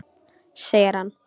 Segir hann.